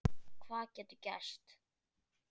Hvað getur gerst?